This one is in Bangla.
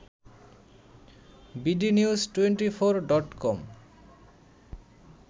bdnews twenty four dot com